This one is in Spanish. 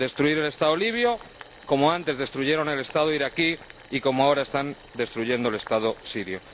Destruir el Estado libio como antes destruyeron el Estado iraquí y como ahora están destruyendo el Estado sirio.